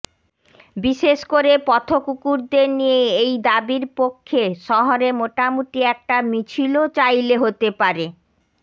বিশেষ করে পথকুকুরদের নিয়ে এই দাবির পক্ষে শহরে মোটামুটি একটা মিছিলও চাইলে হতে পারে